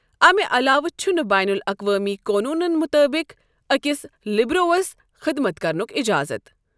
اَمِہ علاوٕ چھُنہٕ بین الاقوٲمی قونونَن مُطٲبِق أکِس لِبروَس خدمت کرنُک اِجازت۔